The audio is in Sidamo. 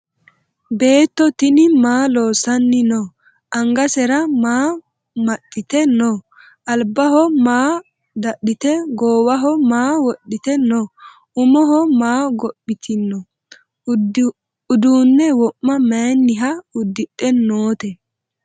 Beetto tinni maa loosanni noo? Angasera maa maxiitte noo? Alibbaho maa dadhitte goowaho maa wodhitte noo? Umoho maa gophittinno? Uduunne wo'ma mayiinniha udidhe nootte?